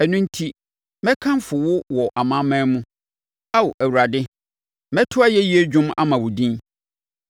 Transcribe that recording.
Ɛno enti, mɛkamfo wo wɔ amanaman mu, Ao Awurade. Mɛto ayɛyie dwom ama wo din.